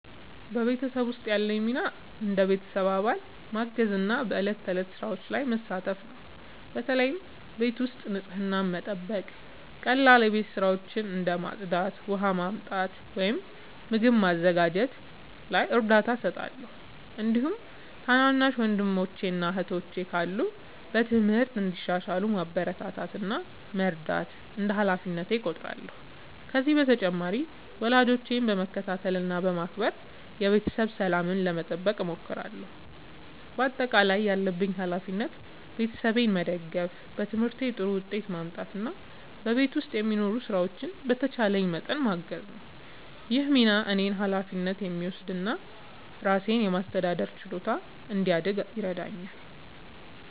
በቤተሰቤ ውስጥ ያለኝ ሚና እንደ ቤተሰብ አባል ማገዝና በዕለት ተዕለት ሥራዎች መሳተፍ ነው። በተለይ ቤት ውስጥ ንጽህናን መጠበቅ፣ ቀላል የቤት ሥራዎችን እንደ ማጽዳት፣ ውሃ ማመጣት ወይም ምግብ ማዘጋጀት ላይ እርዳታ እሰጣለሁ። እንዲሁም ትናንሽ ወንድሞችና እህቶች ካሉ በትምህርታቸው እንዲሻሻሉ ማበረታታት እና መርዳት እንደ ሃላፊነቴ እቆጥራለሁ። ከዚህ በተጨማሪ ወላጆቼን በመከታተል እና በማክበር የቤተሰብ ሰላምን ለመጠበቅ እሞክራለሁ። በአጠቃላይ ያለብኝ ሃላፊነት ቤተሰቤን መደገፍ፣ በትምህርቴ ጥሩ ውጤት ማምጣት እና በቤት ውስጥ የሚኖሩ ሥራዎችን በተቻለኝ መጠን ማገዝ ነው። ይህ ሚና እኔን ኃላፊነት የሚወስድ እና ራሴን የማስተዳደር ችሎታ እንዲያድግ ይረዳኛል።